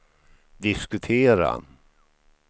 diskutera